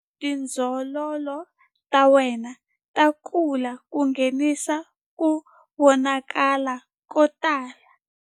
Tindzololo ta wena ta kula ku nghenisa ku vonakala ko tala.